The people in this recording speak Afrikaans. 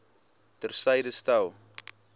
ter syde stel